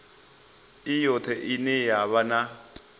i yoṱhe ine ya vha